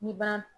N'i ban